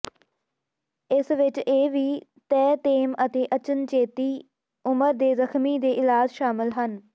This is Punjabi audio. ਇਸ ਵਿਚ ਇਹ ਵੀ ਤੇਅਤੇਮ ਅਤੇ ਅਚਨਚੇਤੀ ਉਮਰ ਦੇ ਜ਼ਖ਼ਮੀ ਦੇ ਇਲਾਜ ਸ਼ਾਮਲ ਹੈ